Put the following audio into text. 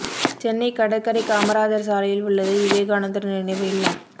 சென்னை கடற்கரை காமராஜர் சாலையில் உள்ளது விவேகானந்தர் நினைவு இல்லம்